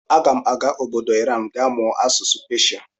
Aga m aga obodo Iran ga mụọ asụsụ Peshia.